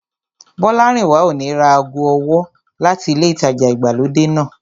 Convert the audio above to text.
Bọ́lárìnwá ò ní ra ago ọwọ́ láti ilé ìtajà ìgbàlódé náà